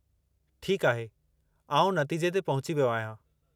ठीकु आहे, आउं नतीजे ते पहुची वियो आहियां।